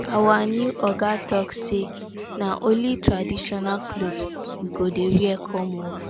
our new oga talk say na only traditional cloth we go dey wear come work